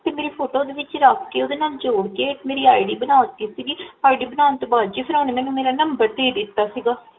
ਤੇ ਮੇਰੀ ਫੋਟੋ ਦੇ ਵਿੱਚ ਰਖ ਕੇ ਓਦੇ ਨਾਲ ਜੋੜ ਕੇ ਇਕ ਮੇਰੀ ID ਬਣਾ ਦਿੱਤੀ ID ਬਣਾਨ ਤੋ ਬਾਦ ਜੀ ਫੇਰ ਓਨੇ ਮੇਰਾ Number ਭੇਜ ਦਿੱਤਾ ਸੀਗਾ